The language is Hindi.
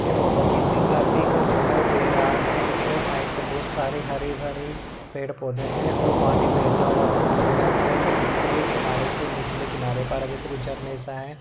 ये फोटो किसी नदी का दिखाई दे रहा है इसमें साइड पे बहुत सारी हरी भरी पेड़ पौधे हैं और पानी बहता हुआ दिखाई दे रहा है। यहाँ एक उपरी किनारे से निचले किनारे पर है जैसे कोई झरने सा है।